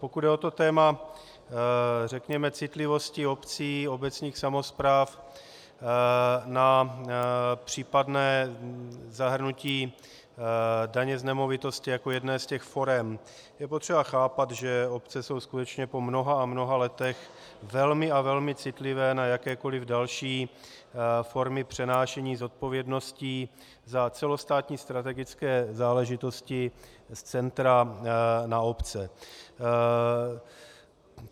Pokud jde o to téma, řekněme, citlivosti obcí, obecních samospráv, na případné zahrnutí daně z nemovitosti jako jedné z těch forem, je potřeba chápat, že obce jsou skutečně po mnoha a mnoha letech velmi a velmi citlivé na jakékoli další formy přenášení zodpovědností za celostátní strategické záležitosti z centra na obce.